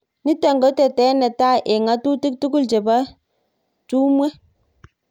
nitok ko tetet netai eng ngatutik tukul chebo tungwek